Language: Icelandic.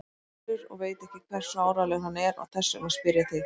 Össur og veit ekki hversu áreiðanlegur hann er og þess vegna spyr ég þig.